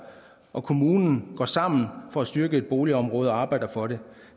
og kommunen går sammen for at styrke et boligområde og arbejder for det